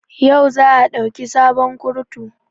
Yau za a dauki sabon kurutu